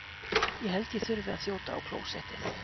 Ég held ég þurfi að þjóta á klósettið.